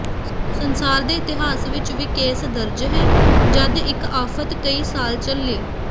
ਸੰਸਾਰ ਦੇ ਇਤਿਹਾਸ ਵਿਚ ਵੀ ਕੇਸ ਦਰਜ ਹੈ ਜਦ ਇੱਕ ਆਫ਼ਤ ਕਈ ਸਾਲ ਚੱਲੀ